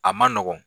A man nɔgɔn